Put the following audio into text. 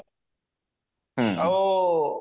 ଆଉ